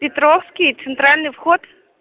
петровский центральный вход